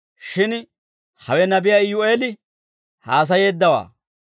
Shin hawe Nabiyaa Iyu'eel haasayeeddawaa.